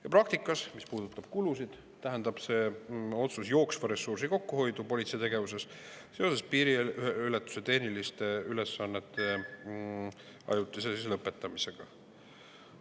Ja praktikas, mis puudutab kulusid, tähendaks see otsus jooksva ressursi kokkuhoidu politsei tegevuses tänu piiriületuse tehniliste ülesannete ajutisele lõpetamisele.